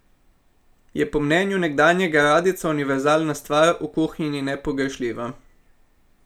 Je po mnenju nekdanjega radijca univerzalna stvar, v kuhinji nepogrešljiva.